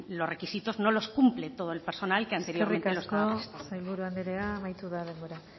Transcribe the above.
los requisitos no los cumple todo el personal que anteriormente trabajó eskerrik asko sailburu anderea amaitu da denbora